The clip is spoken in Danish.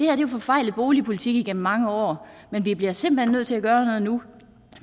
er jo en forfejlet boligpolitik igennem mange år men vi bliver simpelt hen nødt til at gøre noget nu